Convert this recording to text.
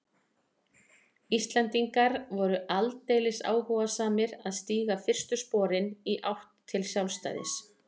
Íslendingar voru aldeilis áhugalausir að stíga fyrstu sporin í átt til sjálfstæðis.